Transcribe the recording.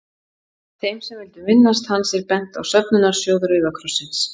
Þeim sem vildu minnast hans er bent á söfnunarsjóð Rauða krossins.